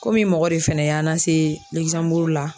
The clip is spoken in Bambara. Komi mɔgɔ de fɛnɛ y'an lase la.